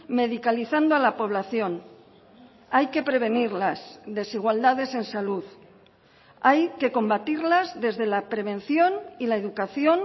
medicalizando a la población hay que prevenir las desigualdades en salud hay que combatirlas desde la prevención y la educación